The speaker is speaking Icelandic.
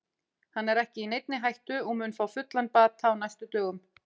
Hann er ekki í neinni hættu og mun ná fullum bata á næstu dögum.